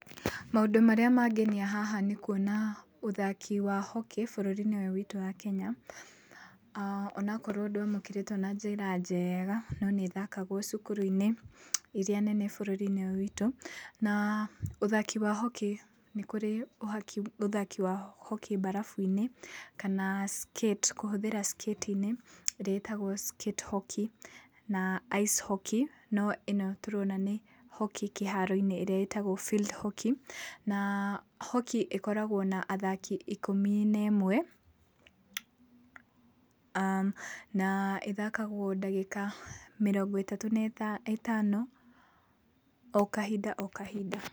Maũndũ marĩa mangenia haha nĩ kuona ũthaki wa hockey bũrũri-inĩ ũyũ witũ wa Kenya, onokorwo ndũamũkĩrĩtwo na njĩra njega, no nĩ ĩthakagwo cukuru-inĩ iria nene bũrũri-inĩ ũyũ witũ, na ũthaki wa hockey nĩ kũrĩ ũhaki ũthaki ya hockey mbarabu-inĩ kana skate kĩhũthĩra skate inĩ ĩrĩa ĩtagwo skate hockey na ice hockey, no ĩno tũrona nĩ hockey kĩharo-inĩ ĩrĩa ĩtagwo field hockey, na hockey ĩkoragwo na athaki ikũmi na ĩmwe na ĩthakagwo ndagĩka mĩrongo ĩtatũ na ĩtano o kahinda o kahinda.